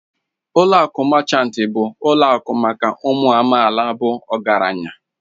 Ụlọ akụ Machanti bụ ụlọ akụ maka ụmụ amaala bụ ọgaranya